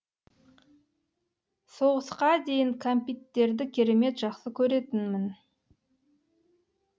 соғысқа дейін кәмпиттерді керемет жақсы көретінмін